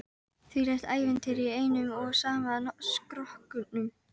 Þvílíkt ævintýri í einum og sama skrokknum.